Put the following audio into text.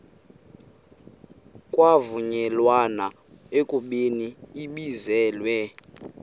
kwavunyelwana ekubeni ibizelwe